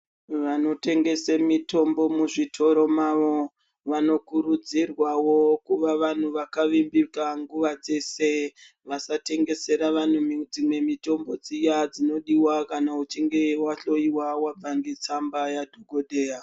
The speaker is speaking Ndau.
Vanotengese mitombo muzvitoro mavo vanokurudzirwavo kuva vantu vakavimbika nguva dzese. Vasatengesera vantu dzimwe mitombo dziya dzinodiva kana uchinge vahlova vabva ngetsamba yadhogodheya.